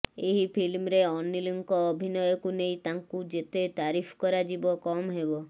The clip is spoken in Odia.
ଏହି ଫିଲ୍ମରେ ଅନିଲଙ୍କ ଅଭିନୟକୁ ନେଇ ତାଙ୍କୁ ଯେତେ ତାରିଫ କରାଯିବ କମ୍ ହେବ